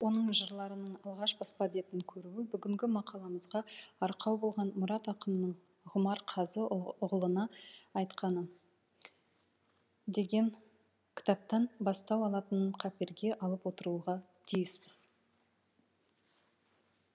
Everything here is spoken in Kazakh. оның жырларының алғаш баспа бетін көруі бүгінгі мақаламызға арқау болған мұрат ақынның ғұмар қазы ұғлына айтқаны деген кітаптан бастау алатынын қаперге алып отыруға тиіспіз